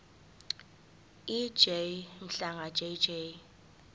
ej mhlanga jj